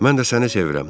Mən də səni sevirəm.